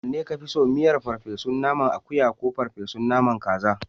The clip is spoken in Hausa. Wanne ka fi so? Miyar ferfe su naman akuya ko ferfe su naman kaza?